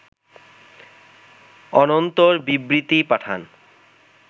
অনন্তর বিবৃতি পাঠান